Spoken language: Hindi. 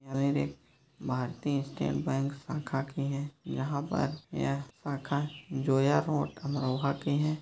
भारतीय स्टेट बैंक शाखा की है यहाँ पर यह शाखा जोया रोड अमरोहा की है।